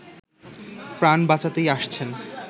প্রাণ বাঁচাতেই আসছেন